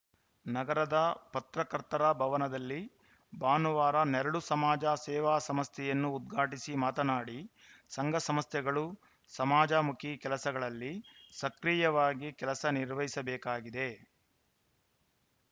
ನಗರದ ಪತ್ರಕರ್ತರ ಭವನದಲ್ಲಿ ಭಾನುವಾರ ನೆರಳು ಸಮಾಜ ಸೇವಾ ಸಂಸ್ಥೆಯನ್ನು ಉದ್ಘಾಟಿಸಿ ಮಾತನಾಡಿ ಸಂಘ ಸಂಸ್ಥೆಗಳು ಸಮಾಜಮುಖಿ ಕೆಲಸಗಳಲ್ಲಿ ಸಕ್ರಿಯವಾಗಿ ಕೆಲಸ ನಿರ್ವಹಿಸಬೇಕಿದೆ